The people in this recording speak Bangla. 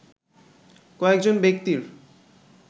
কয়েকজন ব্যক্তির